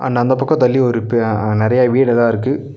இன்னோ அந்தப் பக்கோம் தள்ளி ஒரு பெ நறையா வீடெல்லாம் இருக்கு.